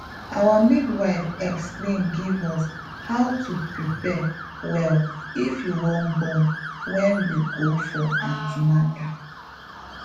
our midwife explain give us how to prepare well if you wan born wen we go for an ten atal